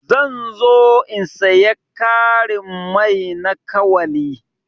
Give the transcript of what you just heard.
Zan zo in siya karin mai na kawali.